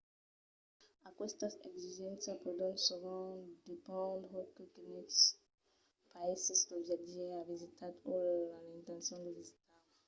aquestas exigéncias pòdon sovent dependre de quines païses lo viatjaire a visitat o a l'intencion de visitar